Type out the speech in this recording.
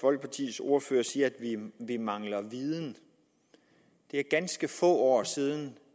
folkepartis ordfører siger at vi mangler viden det er ganske få år siden